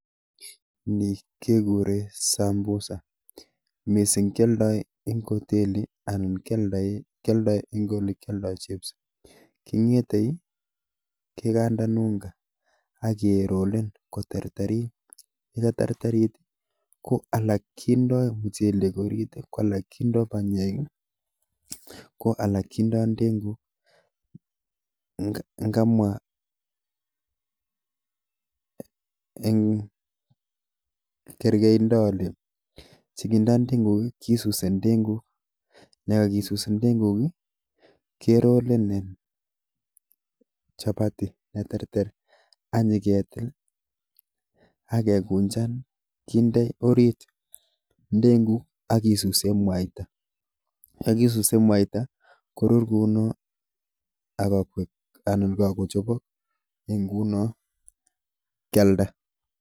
Ni kegere sambusa. Mising keoldoi eng oteli anan kioldai eng olekioldae chips. kingetei, kekandan unga ak kerolen koterterit yekaterterit ko alak kindoi mchelek orit ko alak kindoi panyek ko alak kindoi ndengu. Ngamwa en kergeido ole chebo nandingwei kisusi ndeguk, ndakakisus ndeguk kerolen chapati neterter aknyiketil ak kekunjan kinde orit ndenguk ak kisuse mwaita. Yekisuse mwaita korur kuno akoek kakochobok nguno kialda.